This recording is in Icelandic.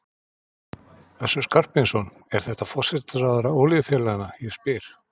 Össur Skarphéðinsson: Er þetta forsætisráðherra olíufélaganna, ég spyr?